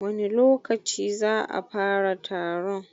wani lokaci za'a fara taron?